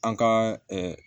An ka